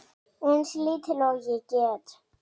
Eins lítil og ég get.